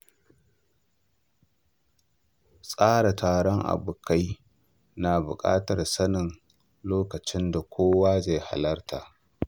Tsara taron abokai na buƙatar sanin lokacin da kowa zai iya halarta.